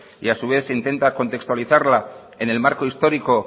y a su vez se intenta contextualizarla en el marco histórico